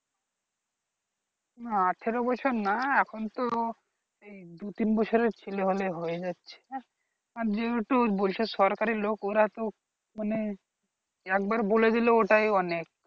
না আঠেরো বছর না এখন তো দু তিন বছরের ছেলে হলেই হয়ে যাচ্ছে আর যেহেতু বলছে সরকারি লোক ওরা তো মানে একবার বলে দিলো ওটাই অনেক